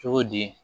Cogo di